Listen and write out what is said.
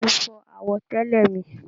Bá mi fọ àwọ̀tẹ́lẹ̀ mi.